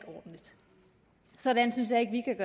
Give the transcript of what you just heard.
ordentligt sådan synes jeg ikke